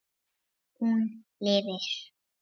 Hún lifir.